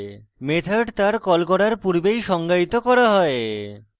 methods তার কল করার পূর্বেই সংজ্ঞায়িত করা উচিত